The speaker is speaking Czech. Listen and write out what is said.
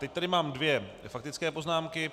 Teď tady mám dvě faktické poznámky.